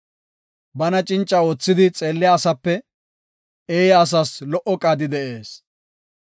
Bana cinca oothidi xeelliya asape eeya asas lo77o qaadi de7ees.